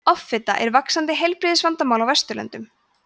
offita er vaxandi heilbrigðisvandamál á vesturlöndum